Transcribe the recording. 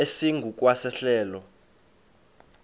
esingu kwa sehlelo